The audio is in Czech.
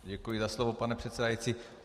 Děkuji za slovo, pane předsedající.